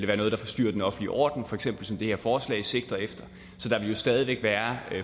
være noget der forstyrrer den offentlige orden som for eksempel det her forslag sigter efter der vil stadig væk være